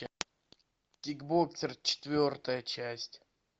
кикбоксер четвертая часть